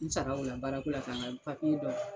n sara o la baara ko la ka ŋa dɔ